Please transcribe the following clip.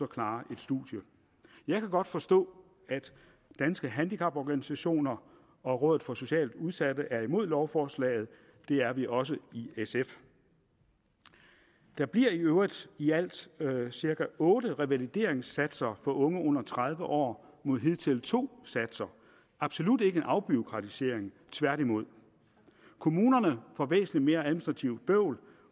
klare et studium jeg kan godt forstå at danske handicaporganisationer og rådet for socialt udsatte er imod lovforslaget det er vi også i sf der bliver i øvrigt i alt cirka otte revalideringssatser for unge under tredive år mod hidtil to satser absolut ikke en afbureaukratisering tværtimod kommunerne får væsentlig mere administrativt bøvl